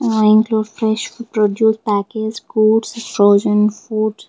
ah include fresh produce package foods frozen foods.